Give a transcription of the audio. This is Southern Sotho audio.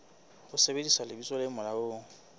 ho sebedisa lebitso le molaong